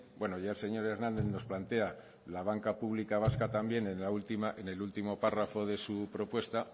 bueno ya el señor hernández nos plantea la banca pública vasca también en el último párrafo de su propuesta